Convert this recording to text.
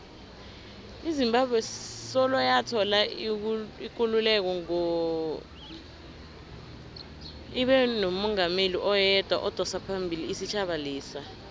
izimbabwe soloyathola ikululeko ngo ibenomungameli oyedwa odosaphambili isitjhaba lesa